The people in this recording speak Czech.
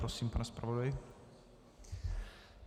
Prosím, pane zpravodaji.